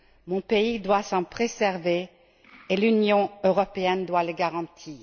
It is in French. Mon pays doit s'en préserver et l'Union européenne doit le garantir.